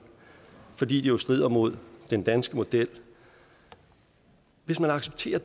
fordi jo strider mod den danske model hvis man accepterer